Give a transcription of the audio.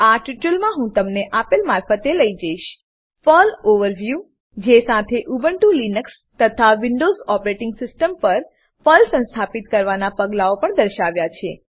આ ટ્યુટોરીયલમાં હું તમને આપેલ મારફતે લઇ જઈશ પર્લ ઓવરવ્યૂ પર્લ ઓવરવ્યુ જે સાથે ઉબુન્ટુ લીનક્સ તથા વિન્ડોવ્ઝ ઓપરેટીંગ સીસ્ટમ પર પર્લ સંસ્થાપિત કરવાનાં પગલાઓ પણ દર્શાવ્યા છે